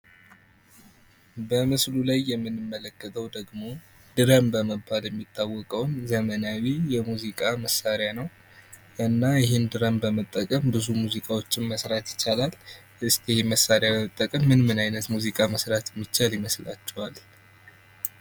በምስሉ ላይ የምንመለከተው ደግሞ ድረም በመባል ይታወቃል ዘመናዊ የሙዚቃ መሳሪያ ነው እና ይህን መሳለ በመጠቀም ብዙ ሙዚቃዎችን መስራት ይቻላል። እስቲ ሙዚቃ መሳሪያ መጠቀም አይነት ሙዚቃዎች መስራት የሚቻል ይመስላቸዋል?